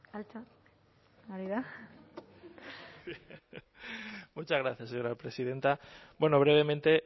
altxa hori da muchas gracias señora presidenta bueno brevemente